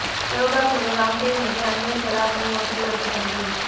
யோகா குரு ராம்தேவ் மீது அண்ணிய செலாவணி மோசடி வழக்கு பதிவு